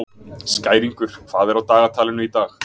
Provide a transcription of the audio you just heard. Skæringur, hvað er á dagatalinu í dag?